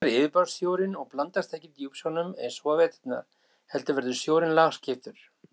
Þá hlýnar yfirborðssjórinn og blandast ekki djúpsjónum eins og á veturna heldur verður sjórinn lagskiptur.